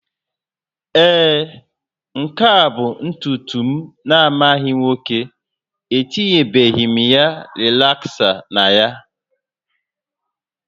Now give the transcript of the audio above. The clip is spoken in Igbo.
Ee, nke a bụ ntutu m na-amaghị nwoke, etinyebeghị m rịlaksa na ya